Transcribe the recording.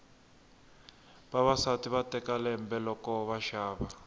vavasati va teka lembe loko va xava